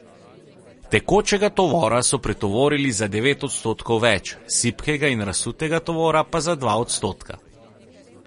Tekočega tovora so pretovorili za devet odstotkov več, sipkega in razsutega tovora pa za dva odstotka.